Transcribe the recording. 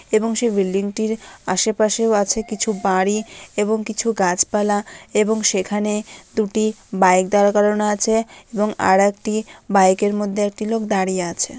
এবং সে বিল্ডিং টির আশে পাশেও আছে কিছু বাড়ি এবং কিছু গাছপালা এবং সেখানে দুটি বাইক দাঁড় করানো আছে এবং আরেকটি বাইক এর মধ্যে একটি লোক দাঁড়িয়ে আছে।